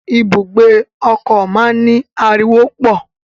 Ibùgbé ọkọ máa n ni ariwo pọ.